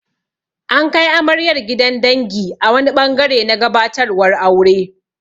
An kai amaryar gidan dangi a wani ɓangare na gabatarwar aure.